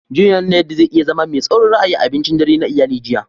John ya nuna yadda zai iya zama mai tsaurin ra'ayi a abincin dare na iyali jiya.